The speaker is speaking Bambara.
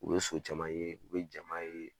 U bɛ so caman ye, u bɛ jama ye.